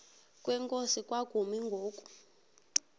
kwenkosi kwakumi ngoku